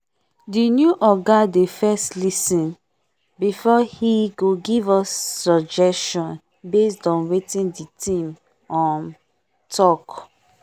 the new oga dey first lis ten before he go give us suggestion based on wetin the team um talk